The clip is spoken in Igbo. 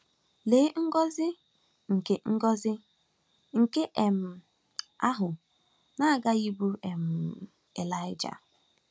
Lee ngọzi nke ngọzi nke um ahụ na-aghaghị ịbụụrụ um Elaị!